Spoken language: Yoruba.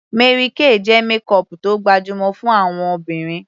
Mary Kay jẹ́ makeup tó gbajúmọ̀ fún àwọn obìnrin